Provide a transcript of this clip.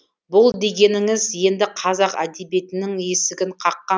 бұл дегеніңіз енді қазақ әдебиетінің есігін қаққан